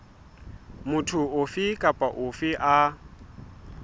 motho ofe kapa ofe a